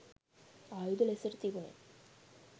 ආයුධ ලෙසට තිබුනෙ